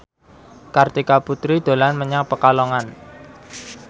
Kartika Putri dolan menyang Pekalongan